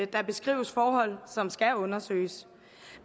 der beskrives forhold som skal undersøges